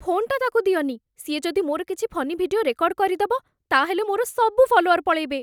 ଫୋନ୍‌ଟା ତାକୁ ଦିଅନି । ସିଏ ଯଦି ମୋର କିଛି ଫନି ଭିଡିଓ ରେକର୍ଡ଼୍ କରିଦବ, ତା'ହେଲେ ମୋର ସବୁ ଫଲୋୱର୍ ପଳେଇବେ ।